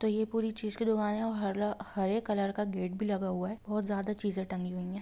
ये पूरी चीज की दुकान है हर हरे कॉलर का गेट भी लगा हुआ है और बहुत ज्यादा चीजे टंगे हुए है।